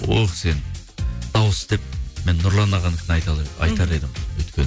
ол кісі енді дауыс деп мен нұрлан ағанікін айтар едім